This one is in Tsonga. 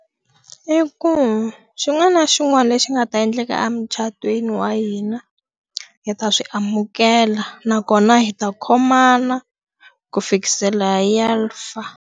I ku xin'wana na xin'wana lexi nga ta endleka emucatweni wa hina, hi ta swi amukela nakona hi ta khomana ku fikisela hi ya fa.